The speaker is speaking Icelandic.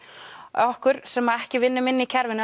okkur sem ekki vinnum inni í kerfinu